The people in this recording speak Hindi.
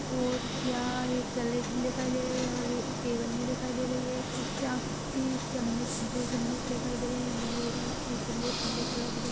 और क्या एक पलेट भी देखाई दे रही है और ए टेबल भी देखाई दे रही है ये चा ये चम्मिस दो चम्मिस दिखाई दे रही है मुझे और ये पलेट ब्लैक कलर की --